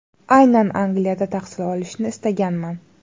Aynan Angliyada tahsil olishni istaganman.